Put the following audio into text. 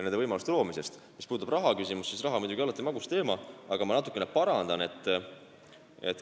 Mis puudutab rahaküsimust, siis raha on muidugi alati magus teema, aga ma natukene parandan teid.